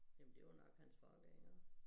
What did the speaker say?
Jamen det var nok hans far ved jeg